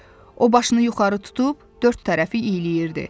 O başını yuxarı tutub dörd tərəfi iyləyirdi.